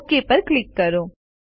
okay ઉપર click કરો